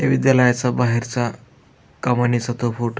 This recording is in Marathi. त्या विद्यालयाच्या बाहेरचा कमानीचा तो फोटो --